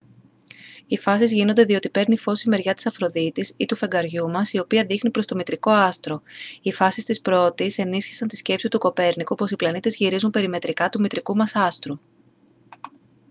οι φάσεις γίνονται διότι παίρνει φως η μεριά της αφροδίτης ή του φεγγαριού μας η οποία δείχνει προς το μητρικό άστρο. οι φάσεις της πρώτης ενίσχυσαν τη σκέψη του κοπέρνικου πως οι πλανήτες γυρίζουν περιμετρικά του μητρικού μας άστρου